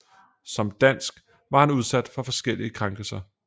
Som dansk var han udsat for forskellige krænkelser